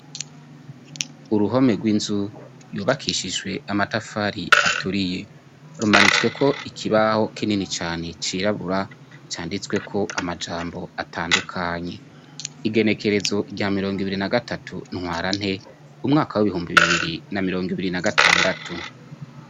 Uruhome rw'inzu yubakishijwe amatafari aturiye. Rumanitsweko ikibaho kinini cane cirabura, canditsweko amajambo atandukanye. Igenekerezo rya mirongo ibiri na gatatu ntwarante, umwaka w'ibihumbi bibiri ba mirongo ibiri na gatandatu.